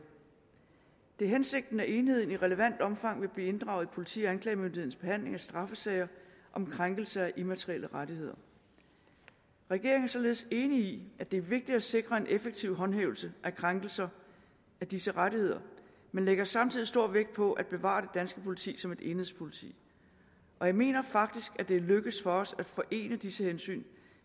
det er hensigten at enheden i relevant omfang vil blive inddraget i politi og anklagemyndighedens behandling af straffesager om krænkelse af immaterielle rettigheder regeringen er således enig i at det er vigtigt at sikre en effektiv håndhævelse af krænkelser af disse rettigheder men lægger samtidig stor vægt på at bevare det danske politi som et enhedspolitik og jeg mener faktisk det er lykkedes os at forene disse hensyn